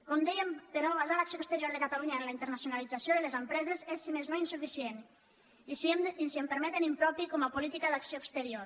com dèiem però basar l’acció exterior de catalunya en la internacionalització de les empreses és si més no insuficient i si em permeten impropi com a política d’acció exterior